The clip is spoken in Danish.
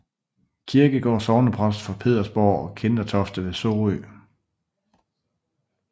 Kierkegaard sognepræst for Pedersborg og Kindertofte ved Sorø